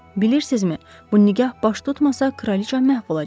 Bilirsinizmi, bu nikah baş tutmasa kraliça məhv olacaq.